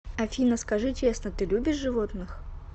афина скажи честно ты любишь животных